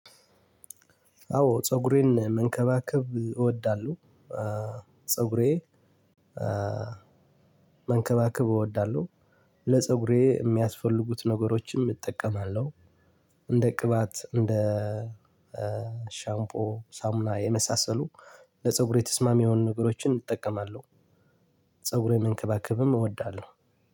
አዎ ፀጉሬን መንከባከብ እወዳለሁ። ፀጉሬ መንከባከብ እወዳለሁ። ለፀጉሬ የሚያስፈልጉትን ነገሮችን እጠቀማለሁ እንደ ቅባት፣ እንደ ሻምፖ፣ ሳሙና የመሳሰሉ ለፀጉሬ ተስማሚ የሆኑ ነገሮችን እጠቀማለሁ። ፀጉሬን መንከባከብም እወዳለሁ።